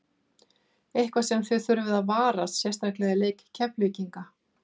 Eitthvað sem að þið þurfið að varast sérstaklega í leik Keflvíkingana?